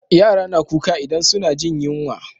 Yara na kuka idan suna jin yunwa